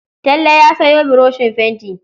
Talle ya sayo buroshin fenti.